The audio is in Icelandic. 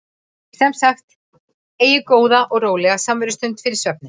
Sem sagt: Eigið góða og rólega samverustund fyrir svefninn.